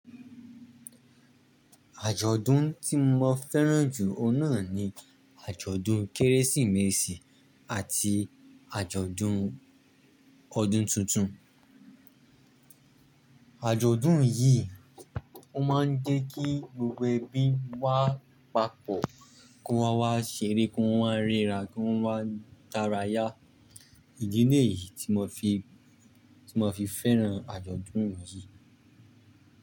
Àjọ̀dún tí mo fẹ́ràn jù o n naa ni àjọ̀dún Kérésìmesì àti àjọ̀dún ọdún tuntun. Àjọ̀dún yìí ó má ń jẹ́ kí gbogbo ẹbí wa papọ̀, kí wọn wá ṣeré, kí wọ́n ríra, kí wọ́n wá dàráyà. Ìdílé yìí tí mo fi, tí mo fi fẹ́ràn àjọ̀dún yìí.